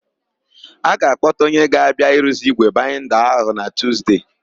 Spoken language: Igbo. A ga-akpọta onye ga-abịa iruzi ígwè baịnda ahụ na Tuzde.